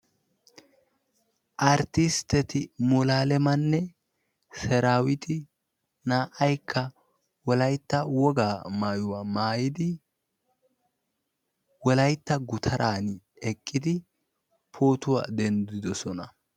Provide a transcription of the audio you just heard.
Arttisteti Mulualemanne Seraawiiti naa'aykka wolaytta wogaa maayuwaa maayidi Wolaytta gutaraani eqqidi pootuwa denddidosona.